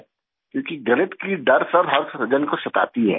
क्योंकि गणित की डर हर जन को सताती है